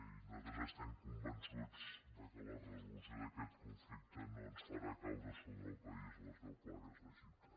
i nosaltres estem convençuts que la resolució d’aquest conflicte no ens farà caure sobre el país les deu plagues d’egipte